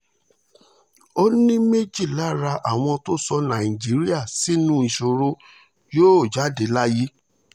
ó ní méjì lára àwọn tó sọ nàìjíríà sínú ìṣòro yóò jáde láyé